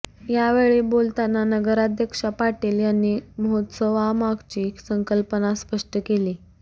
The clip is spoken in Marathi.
यावेळी बोलताना नगराध्यक्षा पाटील यांनी महोत्सवामागची संकल्पना स्पष्ट केली